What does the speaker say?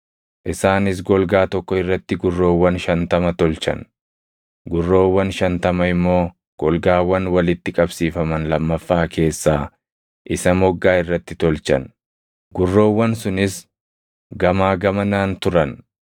Isaanis golgaa tokko irratti gurroowwan shantama tolchan; gurroowwan shantama immoo golgaawwan walitti qabsiifaman lammaffaa keessaa isa moggaa irratti tolchan; gurroowwan sunis gamaa gamanaan turan.